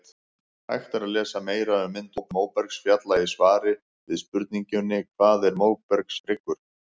Hægt er að lesa meira um myndun móbergsfjalla í svari við spurningunni Hvað er móbergshryggur?